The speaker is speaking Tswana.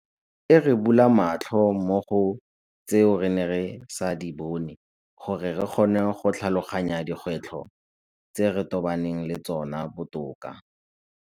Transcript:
E re bula matlho mo go tseo re neng re sa di bone gore re kgone go tlhaloganya dikgwetlho tse re tobaneng le tsona botoka.